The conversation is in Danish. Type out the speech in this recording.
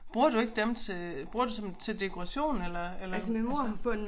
Bruger du ikke dem til bruger du som til dekoration eller eller altså